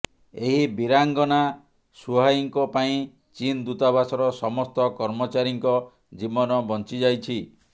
ଏହି ବୀରାଙ୍ଗନା ସୁହାଇଙ୍କ ପାଇଁ ଚୀନ୍ ଦୂତାବାସର ସମସ୍ତ କର୍ମଚାରୀଙ୍କ ଜୀବନ ବଞ୍ଚି ଯାଇଛି